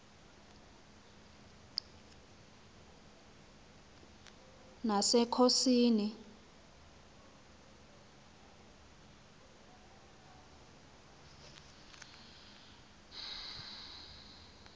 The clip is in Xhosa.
nasekhosini